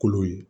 Kolo ye